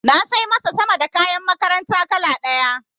Na sai masa sama da kayan makaranta kala ɗaya.